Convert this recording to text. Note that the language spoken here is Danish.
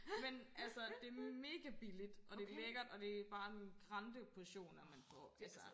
Men altså det mega billigt og det lækkert og det bare nogen grande portioner man får altså